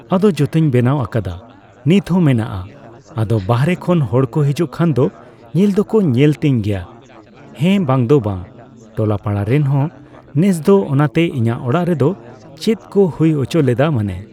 ᱟᱫᱚ ᱡᱚᱛᱚᱧ ᱵᱮᱱᱟᱣ ᱟᱠᱟᱫᱟ ᱱᱤᱛ ᱦᱚᱸ ᱢᱮᱱᱟᱜᱼᱟ᱾ ᱟᱫᱚ ᱵᱟᱨᱦᱮ ᱠᱷᱚᱱ ᱦᱚᱲ ᱠᱚ ᱦᱤᱡᱩᱜ ᱠᱟᱷᱟᱱ ᱫᱚ ᱧᱮᱞ ᱫᱚᱠᱚ ᱧᱮᱞ ᱛᱤᱧ ᱜᱮᱭᱟ᱾ ᱦᱮᱸ ᱵᱟᱝᱫᱚ ᱵᱟᱝ᱾ ᱴᱚᱞᱟᱼᱯᱟᱲᱟ ᱨᱮᱱ ᱦᱚᱸ ᱱᱮᱥ ᱫᱚ ᱚᱱᱟᱛᱮ ᱤᱧᱟᱹᱜ ᱚᱲᱟᱜ ᱨᱮᱫᱚ ᱪᱮᱫ ᱠᱚ ᱦᱩᱭ ᱦᱚᱪᱚᱞᱮᱫᱟ ᱢᱟᱱᱮ